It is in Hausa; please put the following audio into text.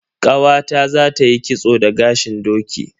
Ƙawata zata yi kitso da gashin doki.